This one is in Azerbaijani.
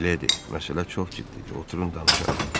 "Mileydi, məsələ çox ciddidir, oturun danışaq."